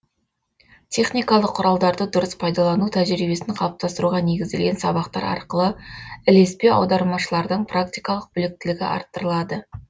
техникалық құралдарды дұрыс пайдалану тәжірибесін қалыптастыруға негізделген сабақтар арқылы ілеспе аудармашылардың практикалық біліктілігі арттырылады